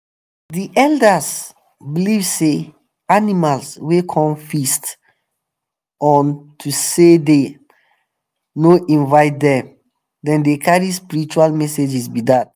the elders believe say animals wey come feast on to say them um no invite them them dey carry spiritual messages be dat.